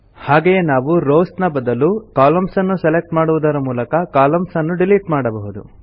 ಹಾಗೆಯೇ ನಾವು ರೋವ್ಸ್ ನ ಬದಲು ಕಾಲಮ್ನ್ಸ್ ನ್ನು ಸೆಲೆಕ್ಟ್ ಮಾಡುದರ ಮೂಲಕ ಕಾಲಮ್ನ್ಸ್ ನ್ನು ಡಿಲಿಟ್ ಮಾಡಬಹುದು